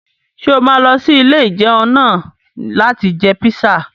Ṣé o máa lọ sí ilé-ìjẹun náà láti jẹ píṣà?